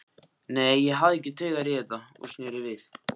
Nei, ég hafði ekki taugar í þetta og sneri við.